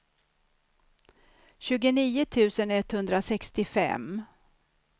tjugonio tusen etthundrasextiofem